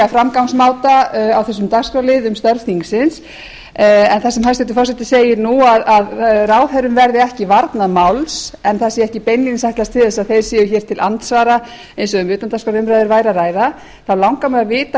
framgangsmáta á þessum dagskrárlið um störf þingsins en þar sem hæstvirtur forseti segir nú að ráðherrum verði ekki varnað máls en það sé ekki beinlínis ætlast til þess að þeir séu hér til andsvara eins og ef um utandagskrárumræður væri að ræða langar mig að vita